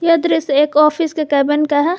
यह दृश्य एक ऑफिस के केबिन का है।